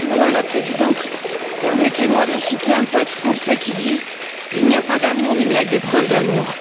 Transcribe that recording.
Madame la Présidente, permettez moi de citer un poète français qui dit Il n'y a pas d'amour, il n'y a que des preuves d'amour.